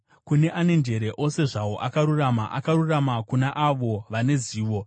Kune ane njere ose zvawo akarurama, akarurama kuna avo vane zivo.